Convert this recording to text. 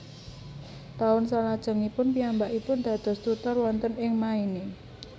Taun salajengipun piyambakipun dados tutor wonten ing Maine